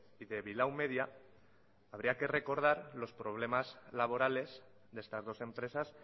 y de vilau media habría que recordar los problemas laborales de estas dos empresas